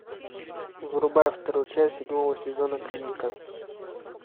врубай вторую часть седьмого сезона клиника